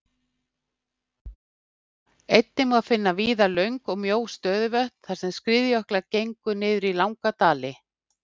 Einnig má víða finna löng og mjó stöðuvötn þar sem skriðjöklar gengu niður langa dali.